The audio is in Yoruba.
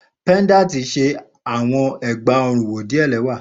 Pendanti ṣe awọn egbaorun wo diẹ lẹwa